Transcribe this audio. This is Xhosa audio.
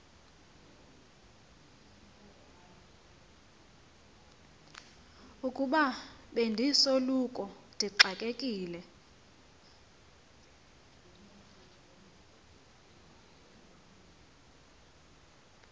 ukuba bendisoloko ndixakekile